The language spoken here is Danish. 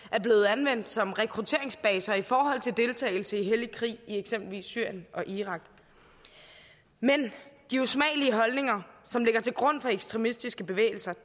anvendt som rekrutteringsbaser i forhold til deltagelse i hellig krig i eksempelvis syrien og irak men de usmagelige holdninger som ligger til grund for ekstremistiske bevægelser